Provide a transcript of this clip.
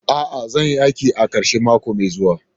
A'a, zan yi aiki a karshen mako mai zuwa.